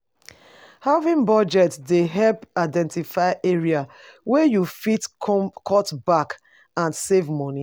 Having budget dey help identify areas wey you fit cut back and save money.